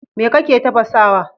Me kake tafasawa?